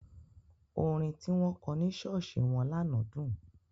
Orin tí wọ́n kọ ní ṣọ́ọ̀ṣì wọn lánàá dùn.